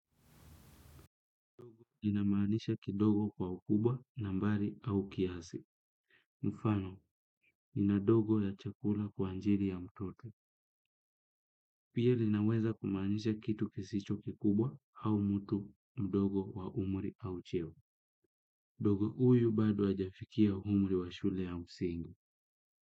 Inamanisha kidogo kwa ukubwa nambari au kiasi. Mfano, nina dogo ya chakula kwa ajili ya mtoto. Pia linaweza kumaanisha kitu kisicho kikubwa au mtu mdogo wa umri au cheo. Dogo huyu bado hajafikia umri wa shule ya msingi.